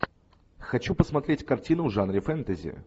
хочу посмотреть картину в жанре фэнтези